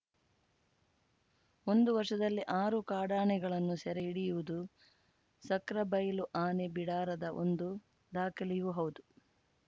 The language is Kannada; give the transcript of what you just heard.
ಒಂದು ವರ್ಷದಲ್ಲಿ ಆರು ಕಾಡಾನೆಗಳನ್ನು ಸೆರೆ ಹಿಡಿಯುವುದು ಸಕ್ರೆಬೈಲು ಆನೆ ಬಿಡಾರದ ಒಂದು ದಾಖಲೆಯೂ ಹೌದು